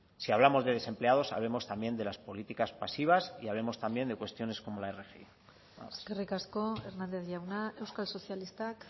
si hablamos de desempleados hablemos también de las políticas pasivas y hablemos también de cuestiones como la rgi eskerrik asko hernández jauna euskal sozialistak